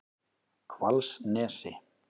Hvalsnesi